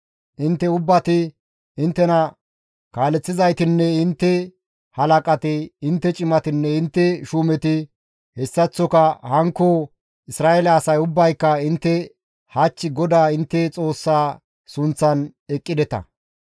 Intte ubbati, inttena kaaleththizaytinne intte halaqati, intte cimatinne intte shuumeti, hessaththoka hankko Isra7eele asay ubbayka intte hach GODAA intte Xoossaa sunththan eqqideta.